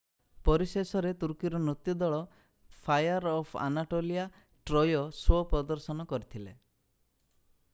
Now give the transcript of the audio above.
ପରିଶେଷରେ ତୁର୍କୀର ନୃତ୍ୟ ଦଳ Fire of Anatolia Troy show ପ୍ରଦର୍ଶନ କରିଥିଲେ